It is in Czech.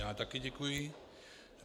Já taky děkuji.